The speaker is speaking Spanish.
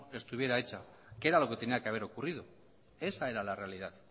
estuviera hecha que era lo que tenía que haber ocurrido esa era la realidad